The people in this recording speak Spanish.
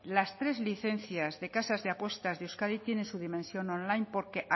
las tres licencias de casas de apuestas de euskadi tienen su dimensión online porque